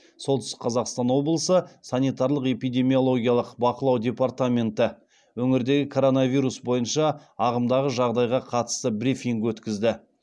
солтүстік қазақстан облысы санитариялық эпидемиологиялық бақылау департаменті өңірдегі коронавирус бойынша ағымдағы жағдайға қатысты брифинг өткізді